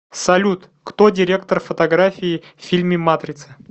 салют кто директор фотографии в фильме матрица